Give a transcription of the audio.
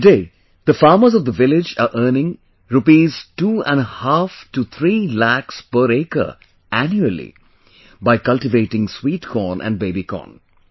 Today, the farmers of the village are earning rupees two and a half to three lakhs per acre annually by cultivating sweet corn and baby corn